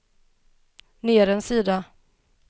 ner en sida